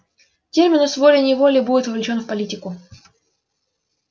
терминус волей-неволей будет вовлечён в политику